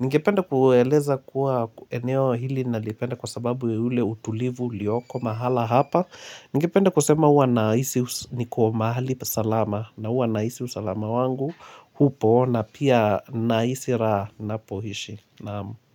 Ningepende kueleza kuwa eneo hili nalipenda kwa sababu ya ule utulivu uliyoko mahala hapa Ningependa kusema uwa naisi niko mahali salama na uwa naisi usalama wangu hupo na pia naisi raha napoishi naam.